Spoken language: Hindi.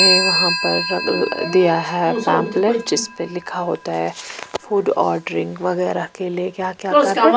यहां पर दिया है पम्पलेट जिसमें लिखा होता हैफूड ऑर्डरिंग वगैरह के लिए क्या-क्या करना --